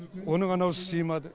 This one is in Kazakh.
оның анауысы сыймады